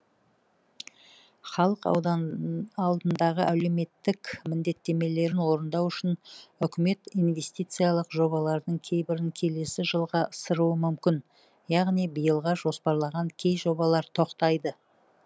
халық алдындағы әлеуметтік міндеттемелерін орындау үшін үкімет инвестициялық жобалардың кейбірін келесі жылға ысыруы мүмкін яғни биылға жоспарланған кей жобалар тоқтайды